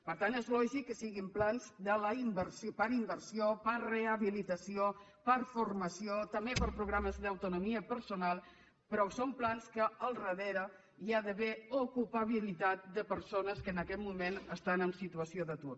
per tant és lògic que siguin plans per a inversió per a rehabilitació per a formació també per a programes d’autonomia personal però són plans que al darrere hi ha d’haver ocupabilitat de persones que en aquest moment estan en situació d’atur